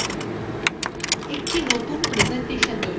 একটি নতুন প্রেসেন্টেশন তৈরী করুন